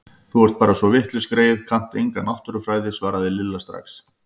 Þú ert bara svo vitlaus greyið, kannt enga náttúrufræði svaraði Lilla strax.